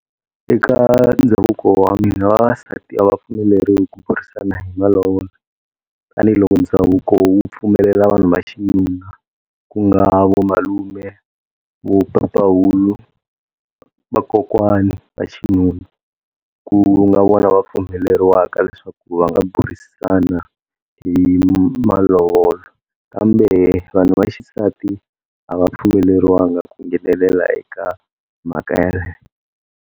Eka ndhavuko wa mina vavasati a va pfumeleriwi ku burisana hi malovola tanihiloko ndhavuko wu pfumelela vanhu va xinuna ku nga vamalume vo papahulu, vakokwani va xinuna, ku nga vona va pfumeleriwaka leswaku va nga burisana hi malovolo kambe vanhu vaxisati a va pfumeleliwangi ku nghenelela eka mhaka yaleyo.